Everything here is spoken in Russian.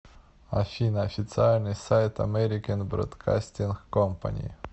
афина официальный сайт америкен бродкастинг компани